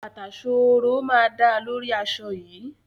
Bàtà ṣooro máa dáa lórí aṣọ yìí.